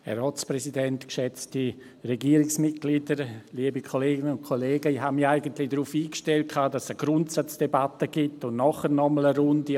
Ich hatte mich eigentlich darauf eingestellt, dass es eine Grundsatzdebatte und nachher noch einmal eine Runde gibt.